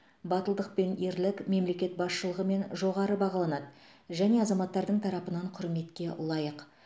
батылдық пен ерлік мемлекет басшылығымен жоғары бағаланады және азаматтардың тарапынан құрметке лайық